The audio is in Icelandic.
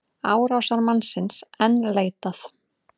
Árásarmannsins enn leitað